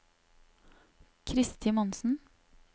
Kristi Monsen